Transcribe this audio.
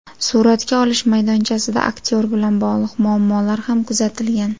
Suratga olish maydonchasida aktyor bilan bog‘liq muammolar ham kuzatilgan.